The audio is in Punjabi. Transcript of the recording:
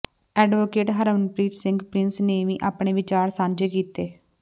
ਐਡਵੋਕੇਟ ਹਰਮਨਪ੍ਰੀਤ ਸਿੰਘ ਪ੍ਰਿੰਸ ਨੇ ਵੀ ਆਪਣੇ ਵਿਚਾਰ ਸਾਂਝੇ ਕੀਤੇ